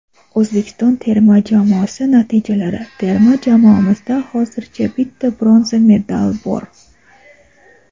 Oʼzbekiston terma jamoasi natijalari: Terma jamoamizda hozircha bitta bronza medal bor.